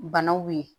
Banaw ye